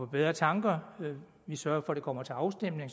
bedre tanker vi sørger for at det kommer til afstemning